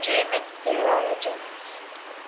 german theologians